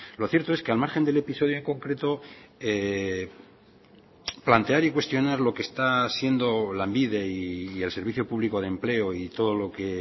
lo cierto es que al margen del episodio en concreto plantear y cuestionar lo que está siendo lanbide y el servicio público de empleo y todo lo que